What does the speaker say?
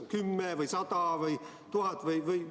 Kas 10 või 100 või 1000?